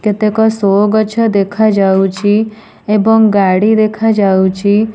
କେତେକ ସୋ ଗଛ ଦେଖାଯାଉଛି ଏବଂ ଗାଡି ଦେଖାଯାଉଛି।